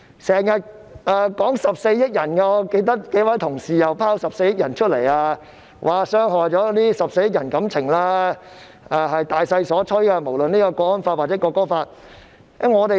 他們又經常提到14億人，我記得有幾位同事都說我們傷害了14億人的感情，又說不論港區國安法或《國歌法》都是大勢所趨。